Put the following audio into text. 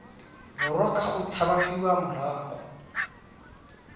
borwa ka go tshabafadiwa morago